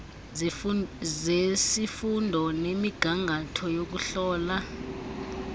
zesifundo nemigangatho yokuhlola